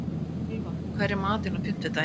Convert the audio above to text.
Ylfa, hvað er í matinn á fimmtudaginn?